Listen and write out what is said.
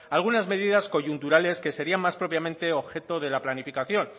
algunas medidas coyunturales que sería más propiamente objeto de la planificación